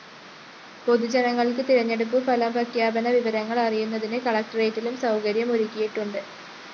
പൊതുജനങ്ങള്‍ക്ക് തെരഞ്ഞെടുപ്പ് ഫലപ്രഖ്യാപന വിവരങ്ങള്‍ അറിയുന്നതിന് കലക്ടറേറ്റിലും സൗകര്യം ഒരുക്കിയിട്ടുണ്ട്